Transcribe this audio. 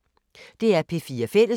DR P4 Fælles